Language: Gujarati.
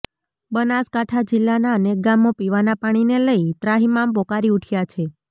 બનાસકાંઠા જિલ્લાના અનેક ગામો પીવાના પાણીને લઈ ત્રાહિમામ પોકારી ઉઠ્યા છે